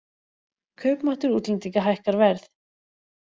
Kaupmáttur útlendinga hækkar verð